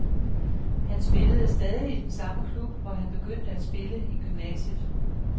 Han spillede stadig i den samme klub, hvor han begyndte at spille i gymnasiet.